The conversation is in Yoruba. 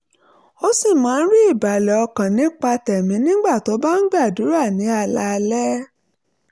ó sì máa ń rí ìbàlẹ̀ ọkàn nípa tẹ̀mí nígbà tó bá ń gbàdúrà ní alaalẹ́